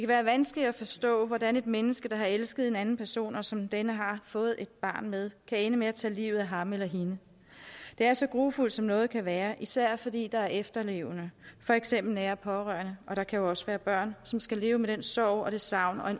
være vanskeligt at forstå hvordan et menneske der har elsket en anden person som denne har fået et barn med kan ende med at tage livet af ham eller hende det er så grufuldt som noget kan være især fordi der er efterlevende for eksempel nære pårørende og der kan jo også være børn som skal leve med en sorg og et savn og